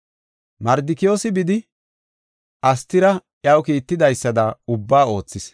Mardikiyoosi bidi, Astira iya kiittidaysada ubbaa oothis.